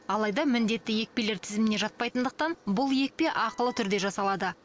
алайда міндетті екпелер тізіміне жатпайтындықтан бұл екпе ақылы түрде жасалады